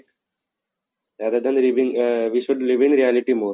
rather than leaving ah we should live in reality more